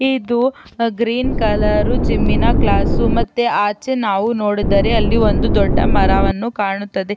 ಇದು green colour ಜಿಮ್ಮಿನ class ಮತ್ತೆ ಆಚೆ ನಾವು ನೋಡಿದರೆ ಅಲ್ಲಿ ಒಂದು ದೊಡ್ಡ ಮರವನ್ನು ಕಾಣುತ್ತದೆ.